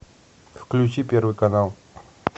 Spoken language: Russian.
включи первый канал